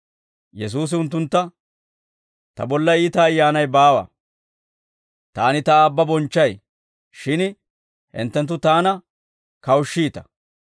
Yesuusi unttuntta, «Ta bolla iita ayyaanay baawa. Taani Ta Aabba bonchchay; shin hinttenttu Taana kawushshiita.